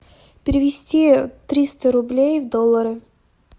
перевести триста рублей в доллары